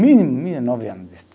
Mínimo, mínimo é nove anos de estudo.